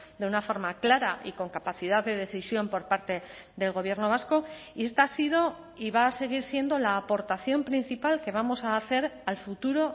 de una forma clara y con capacidad de decisión por parte del gobierno vasco y esta ha sido y va a seguir siendo la aportación principal que vamos a hacer al futuro